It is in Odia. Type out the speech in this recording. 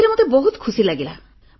ସେଥିରେ ମୋତେ ବହୁତ ଖୁସି ଲାଗିଲା